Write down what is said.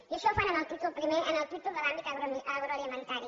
i això ho fan en el títol primer en el títol de l’àmbit agroalimentari